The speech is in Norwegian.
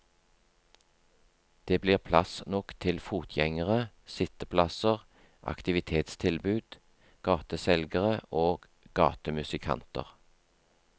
Det blir plass nok til fotgjengere, sitteplasser, aktivitetstilbud, gateselgere og gatemusikanter.